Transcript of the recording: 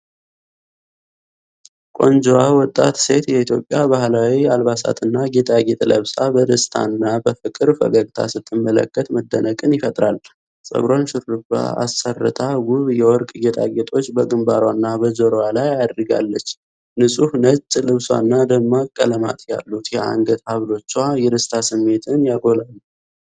ቆንጆዋ ወጣት ሴት የኢትዮጵያ ባህላዊ አልባሳትና ጌጣጌጥ ለብሳ በደስታ እና በፍቅር ፈገግታ ስትመለከት መደነቅን ይፈጥራል:: ፀጉሯን ሹርባ አስርታ፣ ውብ የወርቅ ጌጣጌጦች በግንባሯና በጆሮዋ ላይ አድርጋለች::ንጹሕ ነጭ ልብሷና ደማቅ ቀለማት ያሉት የአንገት ሐብሎቿ የደስታ ስሜቷን ያጎላሉ።